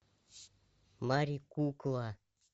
мари кукла